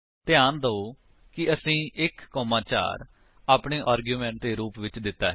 ਧਿਆਨ ਦਿਓ ਕਿ ਅਸੀਂ 1 4 ਆਪਣੇ ਆਰਗੁਮੇਂਟਸ ਦੇ ਰੂਪ ਵਿੱਚ ਦਿੱਤਾ ਹੈ